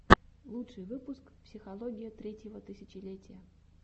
лучший выпуск психология третьего тысячелетия